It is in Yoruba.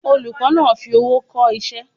Olùkó náa fi owó ko isé